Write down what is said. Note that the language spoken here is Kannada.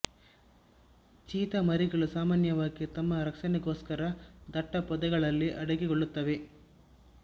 ಚೀತಾ ಮರಿಗಳು ಸಾಮಾನ್ಯವಾಗಿ ತಮ್ಮ ರಕ್ಷಣೆಗೋಸ್ಕರ ದಟ್ಟ ಪೊದೆಗಳಲ್ಲಿ ಅಡಗಿಕೊಳ್ಳುತ್ತವೆ